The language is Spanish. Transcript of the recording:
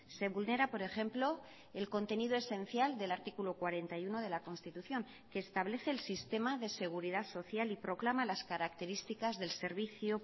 se vulnera por ejemplo el contenido esencial del artículo cuarenta y uno de la constitución que establece el sistema de seguridad social y proclama las características del servicio